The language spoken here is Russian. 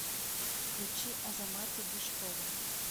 включи азамата биштова